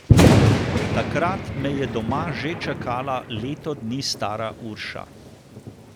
Takrat me je doma že čakala leto dni stara Urša.